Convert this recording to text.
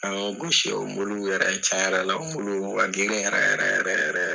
An y'o gosi o muluw yɛrɛ caya la o muluw kun ka ginri yɛrɛ yɛrɛ yɛrɛ yɛrɛ